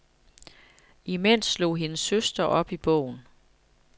Imens slog hendes søster op i bogen.